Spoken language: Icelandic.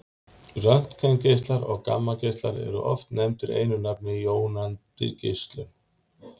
röntgengeislar og gammageislar eru oft nefndir einu nafni jónandi geislun